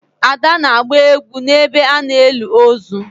ada na-agba egwu n'ebe a na-eli ozu